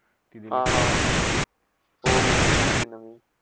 हा - हा, हो - हो दिली होतीना मी.